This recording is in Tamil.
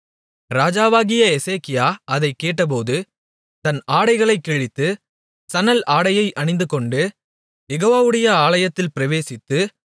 ராஜாவாகிய எசேக்கியா அதைக்கேட்டபோது தன் ஆடைகளைக் கிழித்து சணல் ஆடையை அணிந்துகொண்டு யெகோவவுடைய ஆலயத்தில் பிரவேசித்து